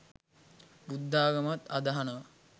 බුද්ධාගමත් අදහනව